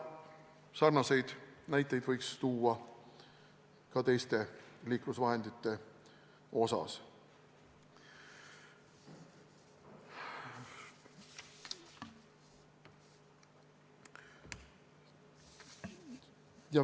Sarnaseid näiteid võiks tuua ka teiste liiklusvahendite kohta.